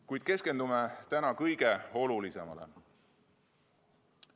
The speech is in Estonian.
Kuid keskendume täna kõige olulisemale.